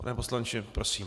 Pane poslanče, prosím.